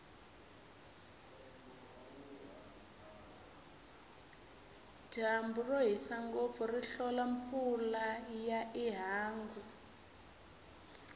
dyambu rohisa ngopfu ri hlola mpfula ya ihangu